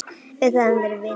Við höfum verið vinir lengi.